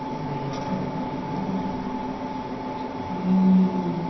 Um dos melhores, por que não, né? E